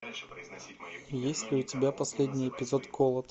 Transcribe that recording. есть ли у тебя последний эпизод голод